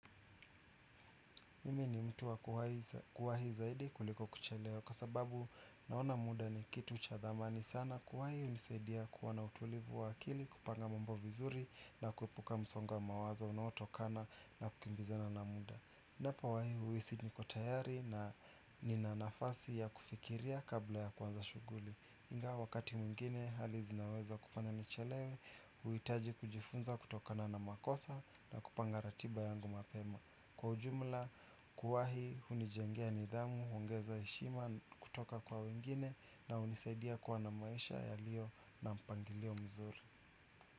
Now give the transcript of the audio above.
Mimi ni mtu wa kuwahi zaidi kuliko kuchelewa kwa sababu naona muda ni kitu cha thamani sana kuwahi hunisaidia kuwa na utulivu wa akili kupanga mambo vizuri na kuepuka msongo wa mawazo unaotokana na kukimbizana na muda. Ninapowahi huhisi niko tayari na nina nafasi ya kufikiria kabla ya kuanza shughuli. Ingawa wakati mwingine hali zinaweza kufanya nichelewe, huhitaji kujifunza kutokana na makosa na kupanga ratiba yangu mapema. Kwa ujumla kuwahi hunijengea nidhamu, huongeza heshima kutoka kwa wengine na hunisaidia kuwa na maisha yaliyo na mpangilio mzuri.